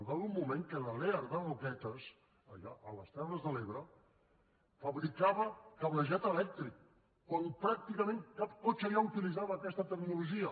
hi va haver un moment que la lear de roquetes allà a les terres de l’ebre fabricava cablejat elèctric quan pràcticament cap cotxe ja no utilitzava aquesta tecnologia